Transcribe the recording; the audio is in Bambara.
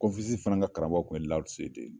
Konfesisi fana ka karamɔgɔ tun ye Laho Se de ye.